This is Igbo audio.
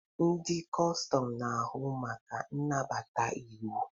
Ndị kọstọm na-ahụ maka nnabata iwu.